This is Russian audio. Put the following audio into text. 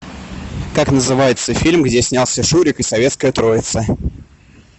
как называется фильм где снялся шурик и советская троица